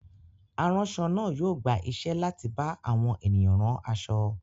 Aránṣọ náà yóò gba iṣẹ́ láti bá àwọn ènìyàn rán aṣọ.